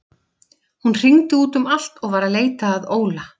Hún hringdi út um allt og var að leita að Óla.